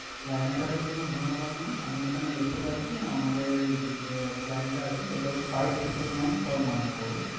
Line এ থাকার জন্য ধন্যবাদ mam । আমি এখানে দেখতে পাচ্ছি আমাদের যে plan টা আছে সেটা হচ্ছে five triple nine per month করে।